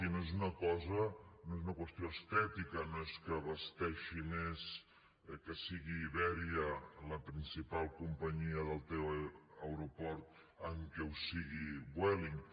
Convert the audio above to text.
i no és una qüestió estètica no és que vesteixi més que sigui iberia la principal companyia del teu aeroport amb el fet que ho sigui vueling